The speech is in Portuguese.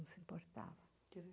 não se importava.